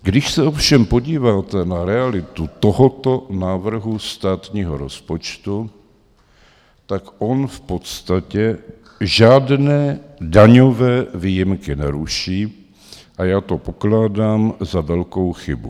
Když se ovšem podíváte na realitu tohoto návrhu státního rozpočtu, tak on v podstatě žádné daňové výjimky neruší a já to pokládám za velkou chybu.